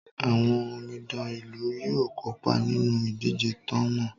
Àwọn omidan ìlú yóò kópa nínú ìdíje ta ń mọ̀ọ́.